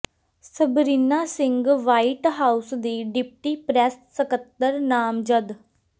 Sabrina Singh white house ਦੀ deputy press ਸਕੱਤਰ ਨਾਮਜ਼ਦ